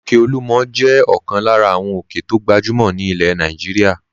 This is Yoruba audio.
Òkè Olúmọ̀ jẹ́ ọ̀kan lára àwọn òkè tó gbajúmọ̀ ní ilẹ̀ Nàìjíríà.